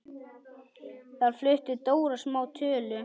Þar flutti Dóra smá tölu.